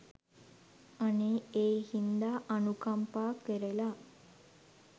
අනේ ඒ හින්දා අනුකම්පා කරලා